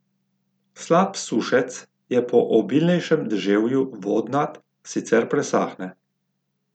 Slap Sušec je po obilnejšem deževju vodnat, sicer presahne.